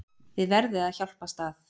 Þið verðið að hjálpast að.